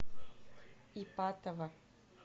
ипатово